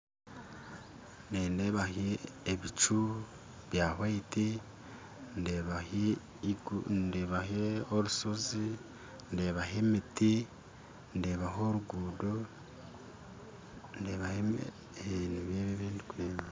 Nindeeho ebicu bya hwayiti ndeebaho ndeebaho orushozi ndeebaho emiti ndeebaho oruguuto ndeebaho, ee nibyo ebi ndikureeba